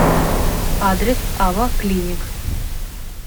адрес ава клиник